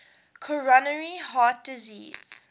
coronary heart disease